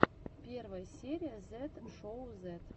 первая серия зет шоу зет